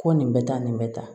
Ko nin bɛ taa nin bɛ tan